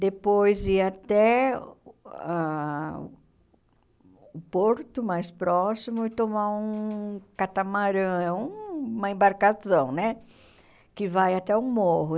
depois ir até ah o porto mais próximo e tomar um catamarã, uma embarcação né que vai até o morro.